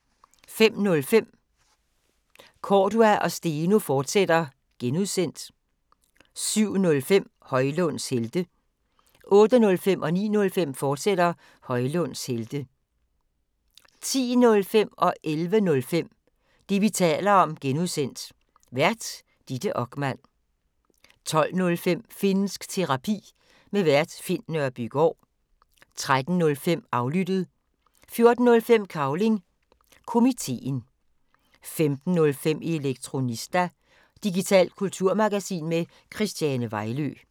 05:05: Cordua & Steno, fortsat (G) 07:05: Højlunds Helte 08:05: Højlunds Helte, fortsat 09:05: Højlunds Helte, fortsat 10:05: Det, vi taler om (G) Vært: Ditte Okman 11:05: Det, vi taler om (G) Vært: Ditte Okman 12:05: Finnsk Terapi. Vært Finn Nørbygaard 13:05: Aflyttet 14:05: Cavling Komiteen 15:05: Elektronista – digitalt kulturmagasin med Christiane Vejlø